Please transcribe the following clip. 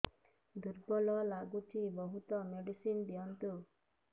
ଦୁର୍ବଳ ଲାଗୁଚି ବହୁତ ମେଡିସିନ ଦିଅନ୍ତୁ